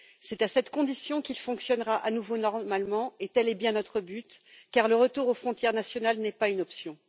C'est à cette condition qu'il fonctionnera à nouveau normalement, et tel est bien notre but, car le retour aux frontières nationales n'est pas une option.